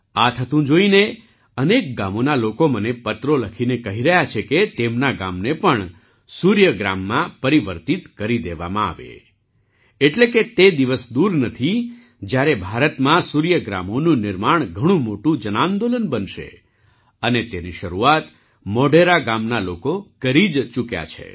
આ થતું જોઈને અનેક ગામોના લોકો મને પત્રો લખીને કહી રહ્યા છે કે તેમના ગામને પણ સૂર્ય ગ્રામમાં પરિવર્તિત કરી દેવામાં આવે એટલે કે તે દિવસ દૂર નથી જ્યારે ભારતમાં સૂર્ય ગ્રામોનું નિર્માણ ઘણું મોટું જનાંદોલન બનશે અને તેની શરૂઆત મોઢેરા ગામના લોકો કરી જ ચૂક્યા છે